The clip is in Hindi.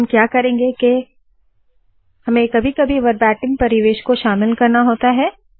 अब हम क्या करेंगे के कभी कभी हमें वरबाटीम परिवेश को शामिल करना होता है